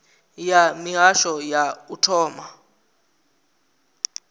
ya mihasho ya u thoma